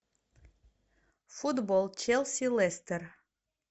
футбол челси лестер